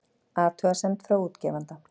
Athugasemd frá útgefanda